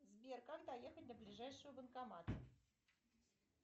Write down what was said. сбер как доехать до ближайшего банкомата